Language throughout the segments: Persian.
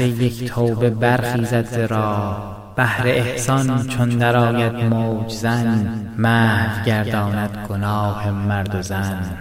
یک توبه برخیزد ز راه بحر احسان چون درآید موج زن محو گرداند گناه مرد و زن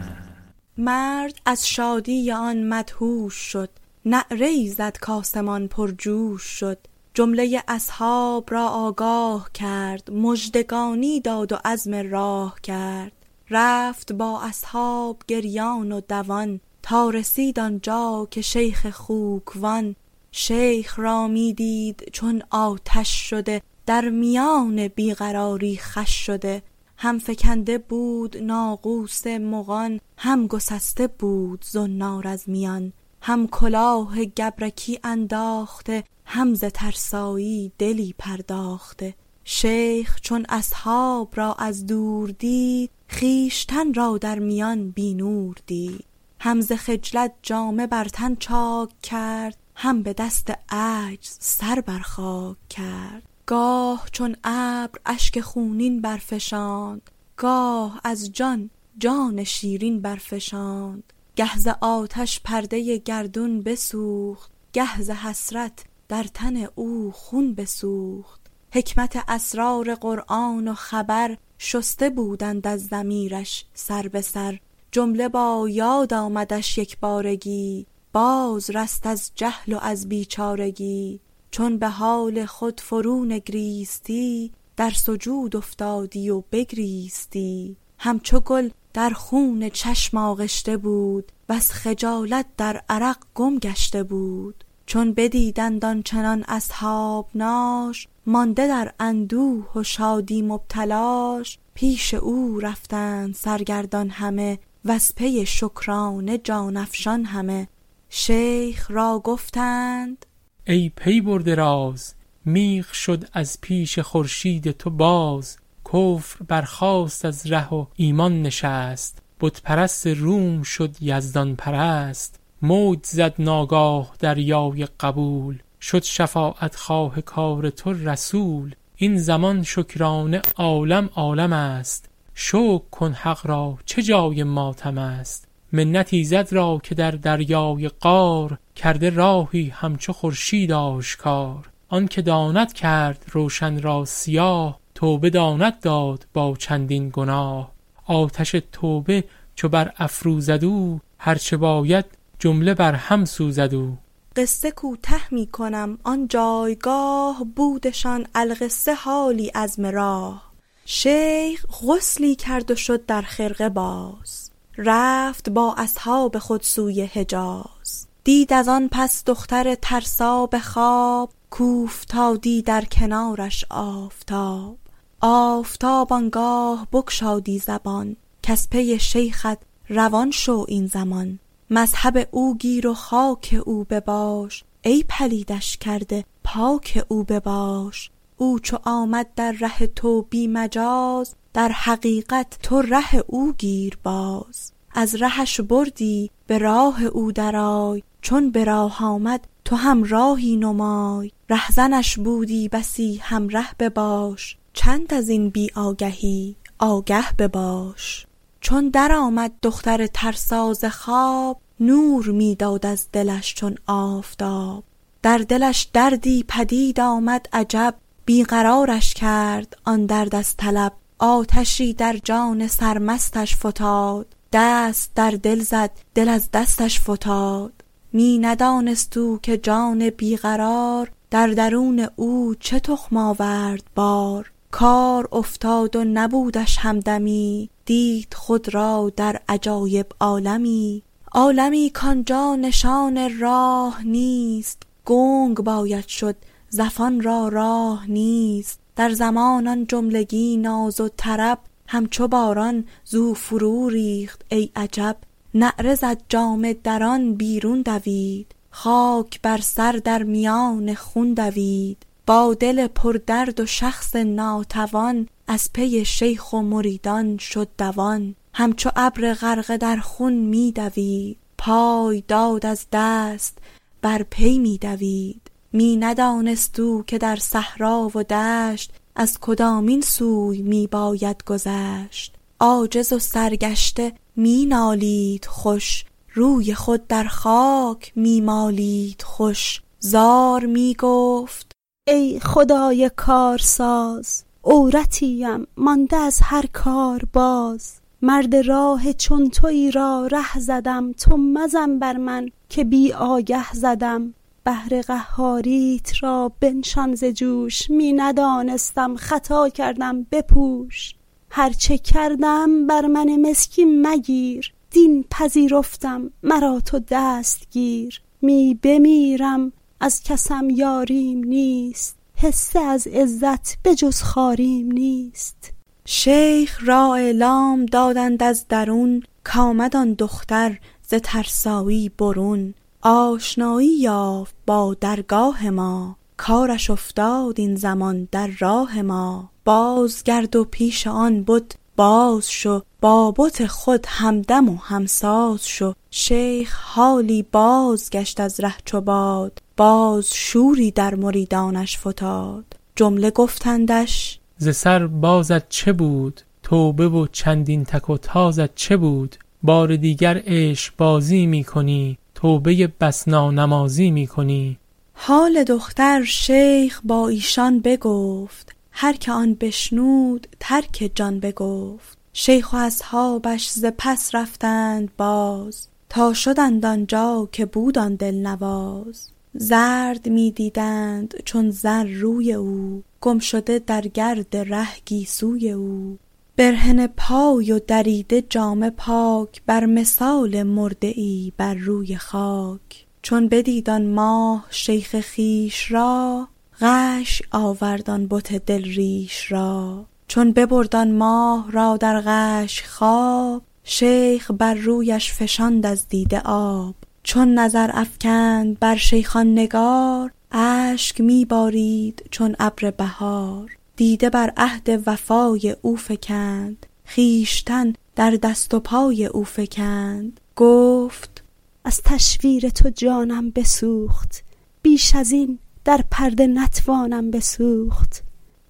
مرد از شادی آن مدهوش شد نعره ای زد کآسمان پرجوش شد جمله اصحاب را آگاه کرد مژدگانی داد و عزم راه کرد رفت با اصحاب گریان و دوان تا رسید آنجا که شیخ خوک وان شیخ را می دید چون آتش شده در میان بی قراری خوش شده هم فکنده بود ناقوس مغان هم گسسته بود زنار از میان هم کلاه گبرکی انداخته هم ز ترسایی دلی پرداخته شیخ چون اصحاب را از دور دید خویشتن را در میان بی نور دید هم ز خجلت جامه بر تن چاک کرد هم به دست عجز بر سر خاک کرد گاه چون ابر اشک خونین می فشاند گاه دست از جان شیرین می فشاند گه ز آهش پرده گردون بسوخت گه ز حسرت در تن او خون بسوخت حکمت اسرار قرآن و خبر شسته بودند از ضمیرش سر به سر جمله با یاد آمدش یکبارگی باز رست از جهل و از بیچارگی چون به حال خود فرو نگریستی در سجود افتادی و بگریستی همچو گل در خون چشم آغشته بود وز خجالت در عرق گم گشته بود چون بدیدند آنچنان اصحابناش مانده در اندوه و شادی مبتلاش پیش او رفتند سرگردان همه وز پی شکرانه جان افشان همه شیخ را گفتند ای پی برده راز میغ شد از پیش خورشید تو باز کفر برخاست از ره و ایمان نشست بت پرست روم شد یزدان پرست موج زد ناگاه دریای قبول شد شفاعت خواه کار تو رسول این زمان شکرانه عالم عالمست شکر کن حق را چه جای ماتمست منت ایزد را که در دریای قار کرده راهی همچو خورشید آشکار آن که داند کرد روشن را سیاه توبه داند داد با چندین گناه آتش توبه چو بر افروزد او هرچه باید جمله بر هم سوزد او قصه کوته می کنم آن جایگاه بودشان القصه حالی عزم راه شیخ غسلی کرد و شد در خرقه باز رفت با اصحاب خود سوی حجاز دید از آن پس دختر ترسا به خواب کاوفتادی در کنارش آفتاب آفتاب آنگاه بگشادی زبان کز پی شیخت روان شو این زمان مذهب او گیر و خاک او بباش ای پلیدش کرده پاک او بباش او چو آمد در ره تو بی مجاز در حقیقت تو ره او گیر باز از رهش بردی به راه او درآی چون به راه آمد تو همراهی نمای رهزنش بودی بسی همره بباش چند ازین بی آگهی آگه بباش چون درآمد دختر ترسا ز خواب نور می داد از دلش چون آفتاب در دلش دردی پدید آمد عجب بی قرارش کرد آن درد از طلب آتشی در جان سرمستش فتاد دست در دل زد دل از دستش فتاد می ندانست او که جان بی قرار در درون او چه تخم آورد بار کار افتاد و نبودش همدمی دید خود را در عجایب عالمی عالمی کآنجا نشان راه نیست گنگ باید شد زفان را راه نیست در زمان آن جملگی ناز و طرب همچو باران زو فروریخت ای عجب نعره زد جامه دران بیرون دوید خاک بر سر در میان خون دوید با دل پردرد و شخص ناتوان از پی شیخ و مریدان شد دوان هم چو ابر غرقه در خوی می دوید پای داد از دست بر پی می دوید می ندانست او که در صحرا و دشت از کدامین سوی می باید گذشت عاجز و سرگشته می نالید خوش روی خود در خاک می مالید خوش زار می گفت ای خدای کارساز عورتی ام مانده از هر کار باز مرد راه چون تویی را ره زدم تو مزن بر من که بی آگه زدم بحر قهاریت را بنشان ز جوش می ندانستم خطا کردم بپوش هرچه کردم بر من مسکین مگیر دین پذیرفتم مرا تو دست گیر می بمیرم از کسم یاریم نیست حصه از عزت به جز خواریم نیست شیخ را اعلام دادند از درون کآمد آن دختر ز ترسایی برون آشنایی یافت با درگاه ما کارش افتاد این زمان در راه ما باز گرد و پیش آن بت باز شو با بت خود همدم و همساز شو شیخ حالی بازگشت از ره چو باد باز شوری در مریدانش فتاد جمله گفتندش ز سر بازت چه بود توبه و چندین تک و تازت چه بود بار دیگر عشق بازی می کنی توبه ای بس نانمازی می کنی حال دختر شیخ با ایشان بگفت هرکه آن بشنود ترک جان بگفت شیخ و اصحابش ز پس رفتند باز تا شدند آنجا که بود آن دل نواز زرد می دیدند چون زر روی او گم شده در گرد ره گیسوی او برهنه پای و دریده جامه پاک بر مثال مرده ای بر روی خاک چون بدید آن ماه شیخ خویش را غشی آورد آن بت دل ریش را چون ببرد آن ماه را در غش خواب شیخ بر رویش فشاند از دیده آب چون نظر افکند بر شیخ آن نگار اشک می بارید چون ابر بهار دیده بر عهد وفای او فکند خویشتن در دست و پای او فکند گفت از تشویر تو جانم بسوخت بیش ازین در پرده نتوانم بسوخت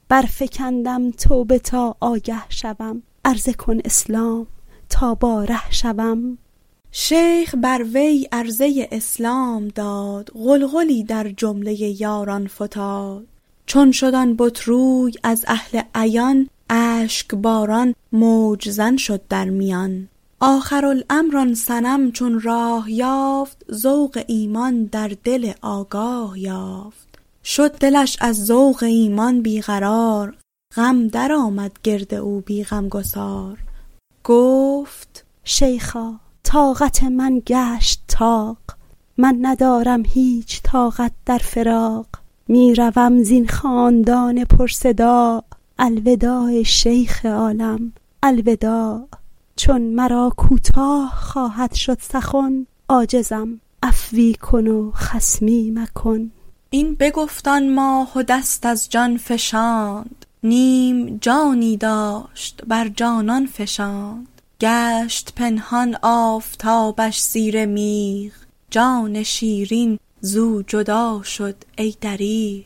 برفکن این پرده تا آگه شوم عرضه کن اسلام تا با ره شوم شیخ بر وی عرضه اسلام داد غلغلی در جمله یاران فتاد چون شد آن بت روی از اهل عیان اشک باران موج زن شد در میان آخر الامر آن صنم چون راه یافت ذوق ایمان در دل آگاه یافت شد دلش از ذوق ایمان بی قرار غم درآمد گرد او بی غمگسار گفت شیخا طاقت من گشت طاق من ندارم هیچ طاقت در فراق می روم زین خاکدان پر صداع الوداع ای شیخ عالم الوداع چون مرا کوتاه خواهد شد سخن عاجزم عفوی کن و خصمی مکن این بگفت آن ماه و دست از جان فشاند نیم جانی داشت بر جانان فشاند گشت پنهان آفتابش زیر میغ جان شیرین زو جدا شد ای دریغ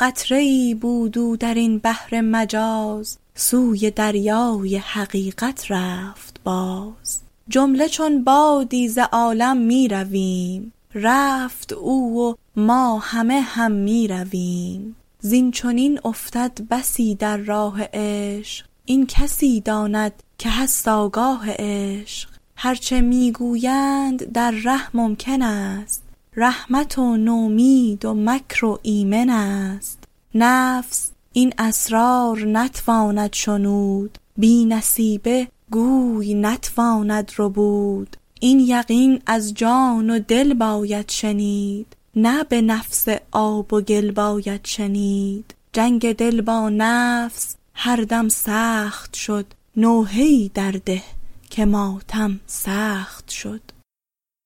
قطره ای بود او درین بحر مجاز سوی دریای حقیقت رفت باز جمله چون بادی ز عالم می رویم رفت او و ما همه هم می رویم زین چنین افتد بسی در راه عشق این کسی داند که هست آگاه عشق هرچه می گویند در ره ممکن است رحمت و نومید و مکر و ایمن است نفس این اسرار نتواند شنود بی نصیبه گوی نتواند ربود این یقین از جان و دل باید شنید نه به نفس آب و گل باید شنید جنگ دل با نفس هر دم سخت شد نوحه ای در ده که ماتم سخت شد